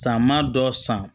Sama dɔ san